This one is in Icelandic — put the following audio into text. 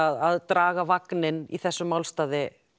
að að draga vagninn í þessum málsstað